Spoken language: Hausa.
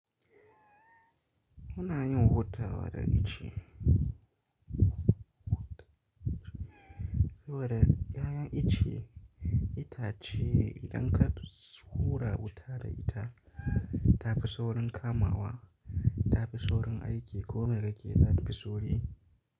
Muna yin wuta wa da ice saboda ɗayan ice, itace ne idan ka hura wuta da ita, ta fi saurin kamawa, ta fi saurin aiki. Ko me kake yi ta fi sauri.